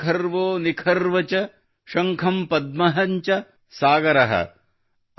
ವೃಂದಂ ಖರ್ವೋ ನಿಖರ್ವ್ ಚ ಶಂಖ ಪದ್ಮ ಚ ಸಾಗರ |